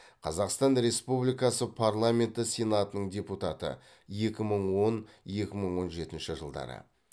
қазақстан республикасы парламенті сенатының депутаты екі мың он екі мың он жетінші жылдары